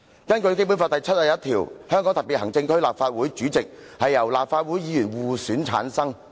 根據《基本法》第七十一條，"香港特別行政區立法會主席由立法會議員互選產生。